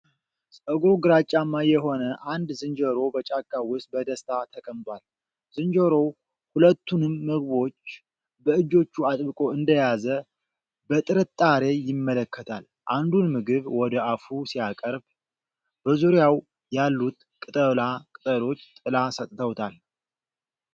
ፀጉሩ ግራጫማ የሆነ አንድ ዝንጀሮ በጫካ ውስጥ በደስታ ተቀምጧል። ዝንጀሮው ሁለቱንም ምግቦች በእጆቹ አጥብቆ እንደያዘ በጥርጣሬ ይመለከታል። አንዱን ምግብ ወደ አፉ ሲያቀርብ፤ በዙሪያው ያሉት ቅጠላ ቅጠሎች ጥላ ሰጥተውታል።